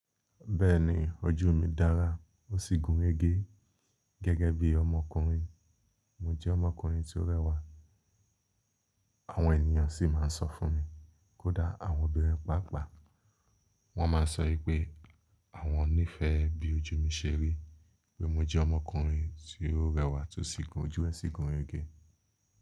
Bẹ́ẹ̀ni ojú mi dára ó sì gùn rege gẹ́gẹ́ bí ọmọkùnrin. Mo jẹ́ ọmọkùnrin tí ó rẹwà, àwọn ènìyàn sì máa ń sọ fún mi kó dá àwọn obìnrin pàápàá. Wọ́n máa sọ wípé àwọn nífẹ̀ẹ́ bí ojú mi ṣe rí pé mo jẹ́ ọmọkùnrin tí ó rẹwà tó sì gun ojú ẹ sì gun rege.